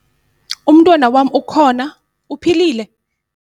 Umntwana wam ukhona, uphilile?